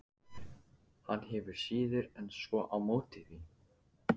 Hann hefur síður en svo á móti því.